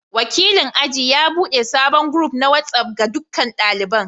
Wakilin aji ya bude sabon group na WhatsApp ga dukkan daliban.